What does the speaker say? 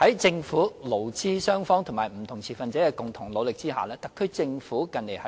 在政府、勞資雙方及不同持份者的共同努力下，特區政府近年